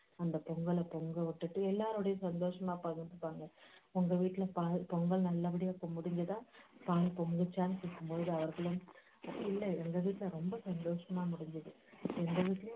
அந்த பொங்கலைப் பொங்க விட்டுட்டு எல்லோருடையும் சந்தொஷமா பகிர்ந்துப்பாங்க உங்க வீட்டுல பால் பொங்கல் நல்லபடியா பொங்கியதா பால் பொங்குச்சான்னு கேக்கும்போது அவங்களும் இல்ல எங்க வீட்டுல ரொம்ப சந்தோஷமா முடிஞ்சிது எங்க வீட்டுலேயும்